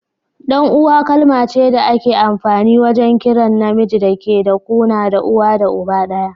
Dan uwa kalma ce da ake amfani wajen kiran na miji da ke da kuna da uwa da uba daya.